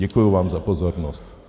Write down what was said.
Děkuji vám za pozornost.